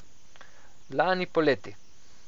Lani poleti.